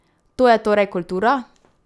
To je torej kultura?